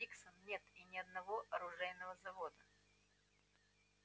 диксон нет ни одного оружейного завода